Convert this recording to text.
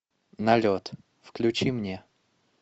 налет включи мне